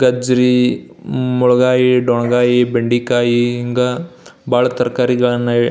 ಗಜ್ಜರಿ ಮೊಳಗಾಯಿ ದೊಣಗಾಯಿ ಬೆಂಡೆಕಾಯಿ ಹಿಂಗ ಬಹಳ ತರಕಾರಿಗಳನ್ನ--